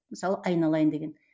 мысалы айналайын деген